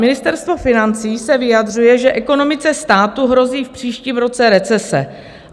Ministerstvo financí se vyjadřuje, že ekonomice státu hrozí v příštím roce recese.